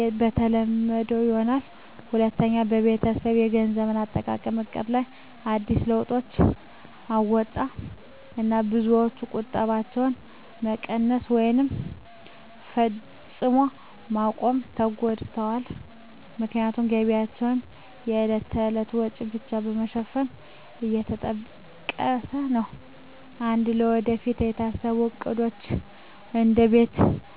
የተለመደ ሆኗል። ሁለተኛ፣ በቤተሰብ የገንዘብ አጠቃቀም ዕቅድ ላይ አዲስ ለውጦች አመጣ። ብዙ ቤተሰቦች ቁጠባቸውን መቀነስ ወይም ፈጽሞ ማቆም ተገድደዋል፣ ምክንያቱም ገቢያቸው የዕለት ተዕለት ወጪን ብቻ ለመሸፈን እየተጠቀሰ ነው። ቀድሞ ለወደፊት የታሰቡ ዕቅዶች፣ እንደ ቤት መገንባት ወይም ንግድ መጀመር፣ ተዘግደዋል።